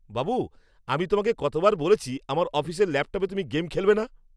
বাবু, আমি তোমাকে কতবার বলেছি, আমার অফিসের ল্যাপটপে তুমি গেম খেলবে না?